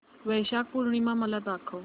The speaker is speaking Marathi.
वैशाख पूर्णिमा मला दाखव